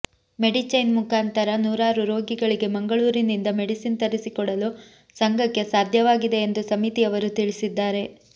Medichain ಮುಂಖಾಂತರ ನೂರಾರು ರೋಗಿಗಳಿಗೆ ಮಂಗಳೂರಿನಿಂದ ಮೆಡಿಸಿನ್ ತರಿಸಿಕೊಡಲು ಸಂಘಕ್ಕೆ ಸಾಧ್ಯವಾಗಿದೆ ಎಂದು ಸಮಿತಿಯವರು ತಿಳಿಸಿದ್ದಾರೆ